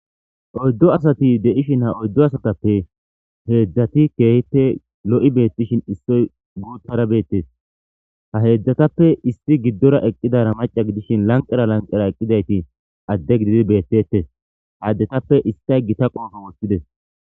oyddo asati deishin ha oyddo asatappe heedzdzati keehite lo7i beettishin issoy guuttara beettes ha heedzdzatappe isti giddora eqqidara maca gidishin lanqera lanqera eqqidayti adde gididi beettetes haaddetappe istay gita qoofo woththides